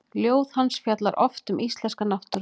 Ljóð hans fjalla oft um íslenska náttúru.